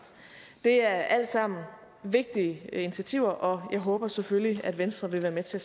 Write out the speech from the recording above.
det er alt sammen vigtige initiativer og jeg håber selvfølgelig at venstre vil være med til